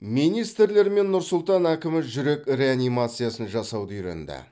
министрлер мен нұр сұлтан әкімі жүрек реанимациясын жасауды үйренді